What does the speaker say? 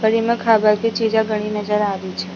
पर इमे खाबा की चीजा घनी नजर आ रही छे।